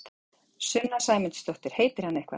Sunna Sæmundsdóttir: Heitir hann eitthvað?